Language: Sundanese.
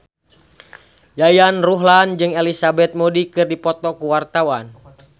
Yayan Ruhlan jeung Elizabeth Moody keur dipoto ku wartawan